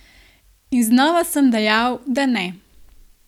In znova sem dejal, da ne.